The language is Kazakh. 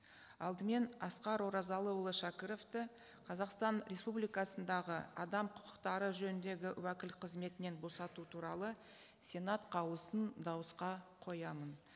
алдымен асқар оразылыұлы шәкіровті қазақстан республикасындағы адам құқықтары жөніндегі уәкіл қызметінен босату туралы сенат қаулысын дауысқа қоямын